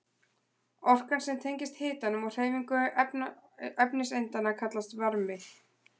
Orkan sem tengist hitanum og hreyfingu efniseindanna kallast varmi.